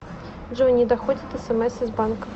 джой не доходят смс из банка